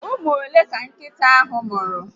Ụmụ ole ka nkịta ahụ mụrụ?